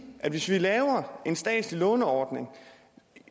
at hvis vi laver en statslig låneordning